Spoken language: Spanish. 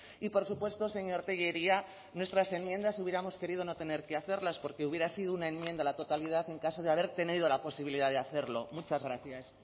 y por supuesto señor tellería nuestras enmiendas hubiéramos querido no tener que hacerlas porque hubiera sido una enmienda a la totalidad en caso de haber tenido la posibilidad de hacerlo muchas gracias